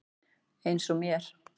Eins og mér.